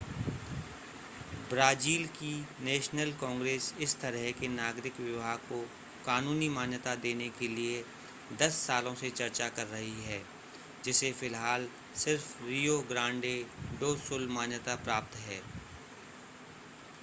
Brazil की national congress इस तरह के नागरिक विवाह को कानूनी मान्यता देने के लिए 10 सालों से चर्चा कर रही है जिसे फ़िलहाल सिर्फ़ रियो ग्रांडे डो सुल मान्यता प्राप्त है